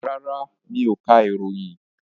Rárá, mi ò ka ìròyìn.